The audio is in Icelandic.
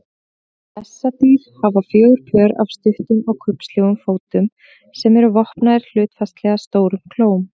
Bessadýr hafa fjögur pör af stuttum og kubbslegum fótum sem eru vopnaðir hlutfallslega stórum klóm.